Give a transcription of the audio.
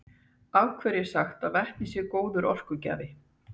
af hverju er sagt að vetni sé góður orkugjafi